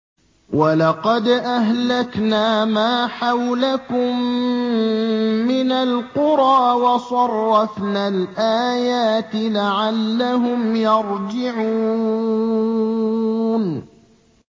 وَلَقَدْ أَهْلَكْنَا مَا حَوْلَكُم مِّنَ الْقُرَىٰ وَصَرَّفْنَا الْآيَاتِ لَعَلَّهُمْ يَرْجِعُونَ